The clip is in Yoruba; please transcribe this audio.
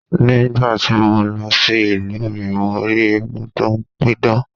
Ní gbà ti mo lọ sí ìlú mi, mo rí eégún tó ń pidán.